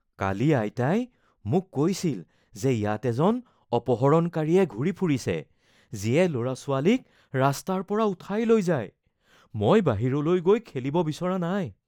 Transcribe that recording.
কালি আইতাই মোক কৈছিল যে ইয়াত এজন অপহৰণকাৰীয়ে ঘূৰি ফুৰিছে, যিয়ে ল’ৰা-ছোৱালীক ৰাস্তাৰ পৰা উঠাই লৈ যায়। মই বাহিৰলৈ গৈ খেলিব বিচৰা নাই।